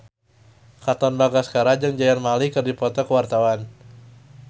Katon Bagaskara jeung Zayn Malik keur dipoto ku wartawan